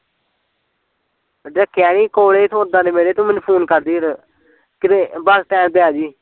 ਰੱਖਿਆ ਨੀ ਕੋਲੇ ਸੌਦਾ ਨੇ ਮੇਰੇ ਤੂੰ ਮੈਨੂੰ ਫੁਨ ਕਰਦੀ ਫਿਰ ਕਿਤੇ bus stand ਤੇ ਆਜੀ